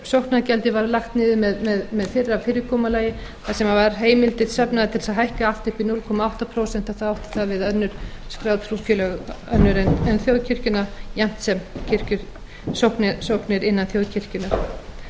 sóknargjaldið var lagt niður með fyrra fyrirkomulagi þar sem var heimild trúfélaga tilmþess að hækka allt upp í núll komma átta prósent þá átti það við önnur skráð trúfélög önnur en þjóðkirkjuna jafnt